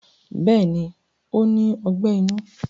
Bẹ́ẹ̀ni ó ní Ọgbẹ́ inú